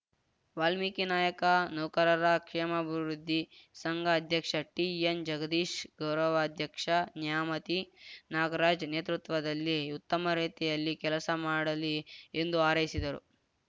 ವಾಲ್ಮೀಕಿ ನಾಯಕ ನೌಕರರ ಕ್ಷೇಮಾಭಿವೃದ್ದಿ ಸಂಘ ಆಧ್ಯಕ್ಷ ಟಿಎನ್‌ ಜಗದೀಶ್‌ ಗೌರವಾಧ್ಯಕ್ಷ ನ್ಯಾಮತಿ ನಾಗರಾಜ್‌ ನೇತೃತ್ವದಲ್ಲಿ ಉತ್ತಮ ರೀತಿಯಲ್ಲಿ ಕೆಲಸ ಮಾಡಲಿ ಎಂದು ಹಾರೈಸಿದರು